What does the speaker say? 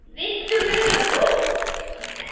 Viltu meira kók?